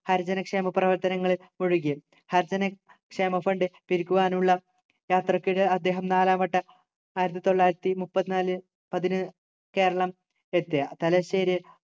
ഹരിജനക്ഷേമ പ്രവർത്തനങ്ങളിൽ മുഴുകി ഹരിജനക്ഷേമ fund പിരിക്കുവാനുള്ള യാത്രയ്ക്കിടെ അദ്ദേഹം നാലാം വട്ടം ആയിരത്തിതൊള്ളായിരത്തിമുപ്പത്തിനാല് പതിനു കേരളം എത്തി തലശ്ശേരി